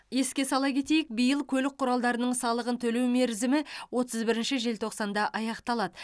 еске сала кетейік биыл көлік құралдарының салығын төлеу мерзімі отыз бірінші желтоқсанда аяқталады